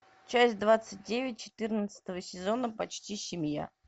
часть двадцать девять четырнадцатого сезона почти семья